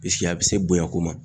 a bɛ se bonya ko ma